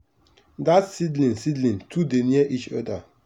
dat seedling seedling too dey near each other.